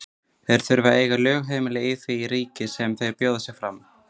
Þeir þurfa að eiga lögheimili í því ríki sem þeir bjóða sig fram.